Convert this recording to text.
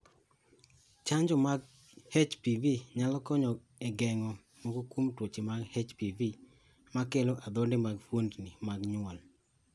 Chanjo mag HPV nyalo konyo e geng'o moko kuom tuoche mag HPV makelo adhonde mag fuondni mag nyuol.